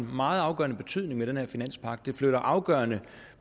meget afgørende betydning med den her finanspagt det flytter afgørende